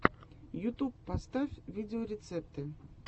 ютуб поставь видеорецепты